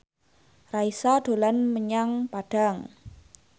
Raisa dolan menyang Padang